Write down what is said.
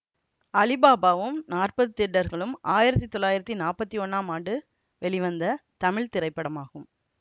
அலிபாபாவும் நாற்பது திருடர்களும் ஆயிரத்தி தொள்ளாயிரத்தி நாப்பத்தி ஒன்னாம் ஆண்டு வெளிவந்த தமிழ் திரைப்படமாகும்